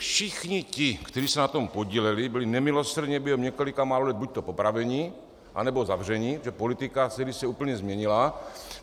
Všichni ti, kteří se na tom podíleli, byli nemilosrdně během několika málo let buďto popraveni, anebo zavřeni, protože politika se kdysi úplně změnila.